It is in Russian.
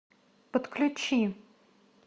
подключи